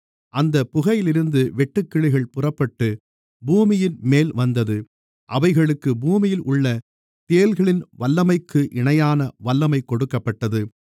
அந்தப் புகையிலிருந்து வெட்டுக்கிளிகள் புறப்பட்டுப் பூமியின்மேல் வந்தது அவைகளுக்குப் பூமியில் உள்ள தேள்களின் வல்லமைக்கு இணையான வல்லமைக் கொடுக்கப்பட்டது